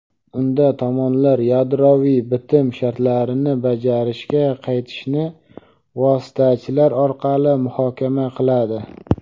unda tomonlar yadroviy bitim shartlarini bajarishga qaytishni vositachilar orqali muhokama qiladi.